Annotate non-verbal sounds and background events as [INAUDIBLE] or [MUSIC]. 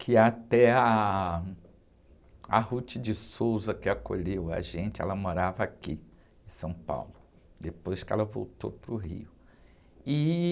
que até ah, a, [UNINTELLIGIBLE] que acolheu a gente, ela morava aqui em São Paulo, depois que ela voltou para o Rio. E...